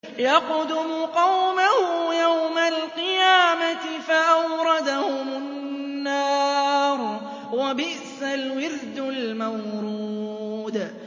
يَقْدُمُ قَوْمَهُ يَوْمَ الْقِيَامَةِ فَأَوْرَدَهُمُ النَّارَ ۖ وَبِئْسَ الْوِرْدُ الْمَوْرُودُ